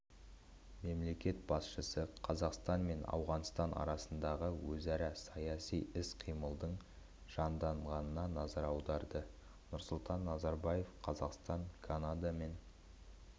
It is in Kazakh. мемлекет басшысы қазақстан мен ауғанстан арасындағы өзара саяси іс-қимылдың жанданғанына назар аударды нұрсұлтан назарбаев қазақстан канадамен